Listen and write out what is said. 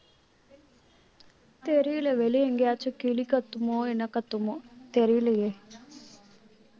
தெரியலே வெளியே எங்கேயாச்சும் கிளி கத்துமோ என்ன கத்துமோ தெரியலையே